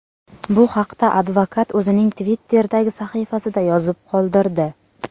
Bu haqda advokat o‘zining Twitter’dagi sahifasida yozib qoldirdi .